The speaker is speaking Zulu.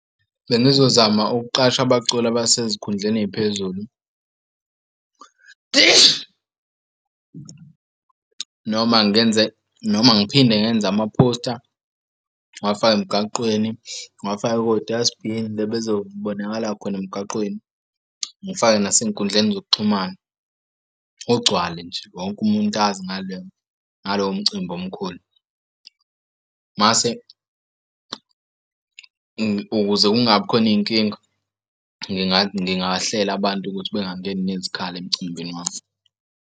Bengizozama ukuqasha abaculi abasezikhundleni ey'phezulu, noma ngenze noma ngiphinde ngenza amaphosta. Ngiwafake emgaqweni ngiwafake kodasi bhini la bezobonakala khona emgaqweni. Ngifake nasey'nkundleni zokuxhumana kugcwale nje wonke umuntu azi ngaleyo ngalowo mcimbi omkhulu. Mase ukuze kungabi khona inkinga ngingahlela abantu ukuthi bangangeni nezikhali emcimbini wami.